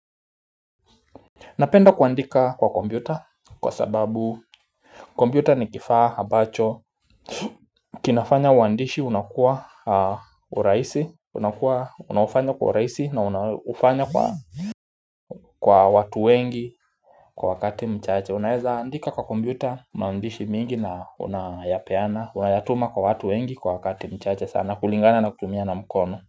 Napenda kuandika kwa kompyuta kwa sababu kompyuta ni kifaa ambacho kinafanya uandishi unakua kwa urahisi unakua unaofanywa kwa urahisi na unafanya kwa watu wengi kwa wakati mchache Unaeza andika kwa kompyuta maandishi mingi na unayapeana unayatuma kwa watu wengi kwa wakati mchache sana kulingana na kutumia na mkono.